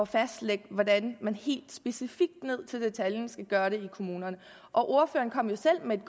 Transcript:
fastlægge hvordan man helt specifikt ned i detaljen skal gøre det i kommunerne ordføreren kom jo selv med et